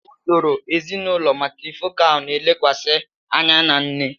Usoro ezinụlọ matrifocal na-elekwasị anya na nne.